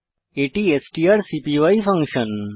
এটি আমাদের strcpy function